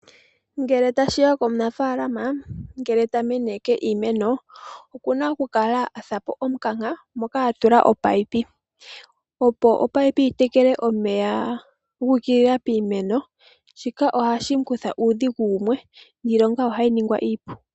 Omunafaalama ngele ta meneke iimeno okuna okufula omukanka moka ta tula omunino opo omunino gutekele omeya guukulila piimeno. Shika ohashi kutha po uudhigu wumwe niilonga ohayi ningwa iipu.